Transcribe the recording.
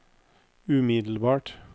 umiddelbart